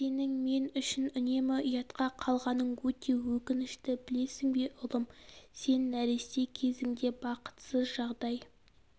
сенің мен үшін үнемі ұятқа қалғаның өте өкінішті білесің бе ұлым сен нәресте кезіңде бақытсыз жағдай